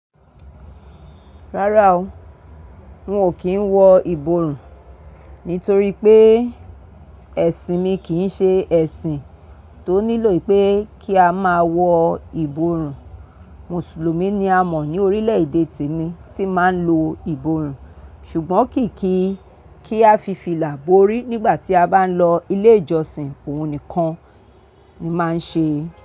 Rárá o, n ò kí ń wọ ìborùn nitorí pé ẹ̀sìn mi kì í ṣe ẹ̀sìn tó nílò pé kí a máa wọ ìborùn. Mùsùlùmí ni a mọ̀ ní orílẹ̀ èdè te mi tí máa ń lo ìbòrùn ṣùgbọ́n kì í kí kí a fi fìlà borí nígbà tí a bá ń lọ ilé ìjọsìn òun nìkan ni máa ń ṣe.